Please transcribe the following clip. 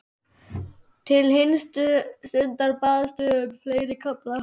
Til hinstu stundar baðstu um fleiri kafla.